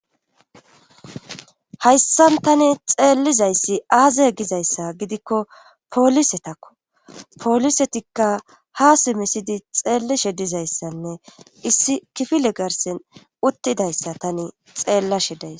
Hayssan tani xeellizayssi aaze gizayssa gidikko poolisetakko poolisetikka ha simisidi xeellishe dizayssanne issi kifile garsen uttidayssa tani xeellashe days.